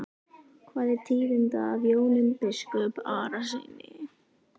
Hvað er tíðinda af Jóni biskupi Arasyni?